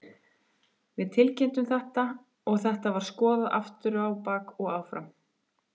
Við tilkynntum þetta og þetta var skoðað aftur á bak og áfram.